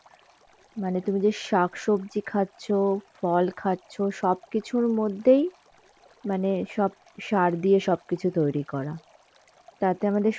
মানে তুমি যে শাক-সবজি খাচ্ছ, ফল খাচ্ছ সবকিছুর মধ্যেই মানে সব সার দিয়ে সব কিছু তৈরি করা.তাতে আমাদের